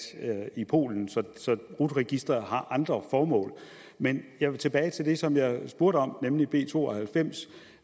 i polen så rut registret har andre formål men jeg vil tilbage til det som jeg spurgte om nemlig b to og halvfems